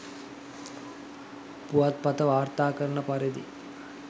පුවත්පත වාර්තා කරන පරිදි